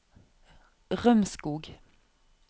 Rømskog